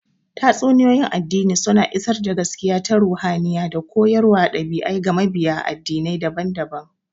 Tatsuniyoyin addini suna isar da gaskiya ta ruhaniya da koyarwar ɗabi'a ga mabiya addinai daban-daban.